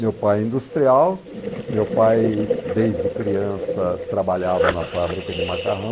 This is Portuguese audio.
Meu pai é industrial, meu pai desde criança trabalhava na fábrica de macarrão.